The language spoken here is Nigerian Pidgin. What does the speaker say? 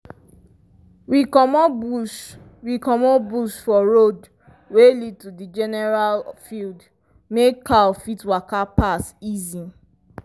we comot bush we comot bush for road wey lead to the general field make cow fit waka pass easy.